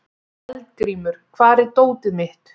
Eldgrímur, hvar er dótið mitt?